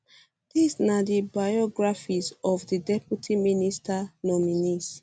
dis na di biographies for di deputy minister nominees